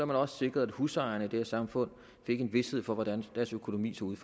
man også sikre at husejerne i det her samfund fik en vished for hvordan deres økonomi så ud